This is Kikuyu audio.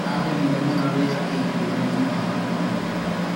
Arrire mũno rĩrĩa aiguire mami wao nĩ mũrwaru.